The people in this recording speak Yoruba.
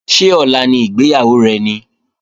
Ṣé ọ̀la ni ìgbéyàwó rẹ ni?